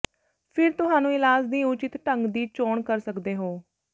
ਫਿਰ ਤੁਹਾਨੂੰ ਇਲਾਜ ਦੀ ਉਚਿਤ ਢੰਗ ਦੀ ਚੋਣ ਕਰ ਸਕਦੇ ਹੋ